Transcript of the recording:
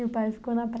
E o pai ficou na